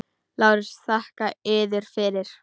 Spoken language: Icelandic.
LÁRUS: Þakka yður fyrir.